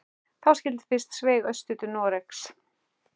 Þá skyldi fyrst sveigt austur til Noregs.